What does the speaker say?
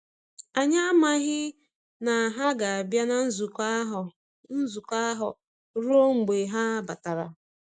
Anyị amaghi na ha ga-abịa na nzukọ ahụ nzukọ ahụ ruo mgbe ha batara.